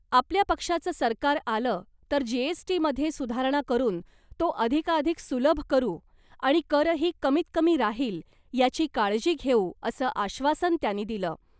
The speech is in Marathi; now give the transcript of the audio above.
आपल्या पक्षाचं सरकार आलं तर जीएसटीमध्ये सुधारणा करून तो अधिकाधिक सुलभ करू आणि करही कमीतकमी राहिल याची काळजी घेऊ, असं आश्वासन त्यांनी दिलं .